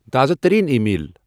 تازٕ ترین email.